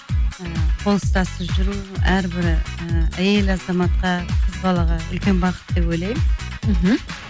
і қол ұстасып жүру әрбір і әйел азаматқа қыз балаға үлкен бақыт деп ойлаймын мхм